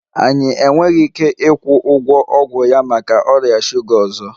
Anyị enweghị ike ịkwụ ụgwọ ọgwụ ya maka ọrịa shuga ọzọ